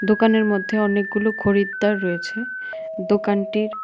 দোকানের মধ্যে অনেকগুলো খরিদ্দার রয়েছে দোকানটির--